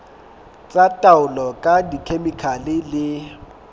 tsa taolo ka dikhemikhale le